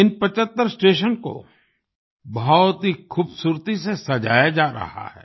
इन 75 स्टेशनों को बहुत ही खूबसूरती से सजाया जा रहा है